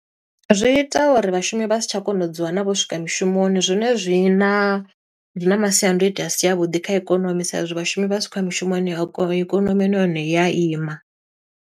Zwi ita uri vhashumi vha si tsha kona u dzi wana vho swika mushumoni, zwone zwina zwi na masiandoitwa a si a vhuḓi kha ikonomi, sa e zwi vhashumi vha si khou ya mushumoni ayikon ikonomi na yone iya ima.